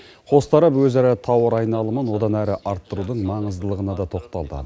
қос тарап өзара тауар айналымын одан әрі арттырудың маңыздылығына да тоқталды